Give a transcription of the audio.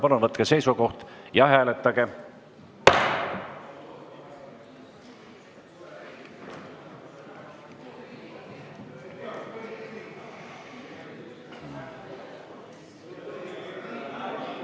Palun võtke seisukoht ja hääletage!